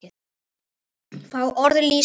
Fá orð lýsa honum betur.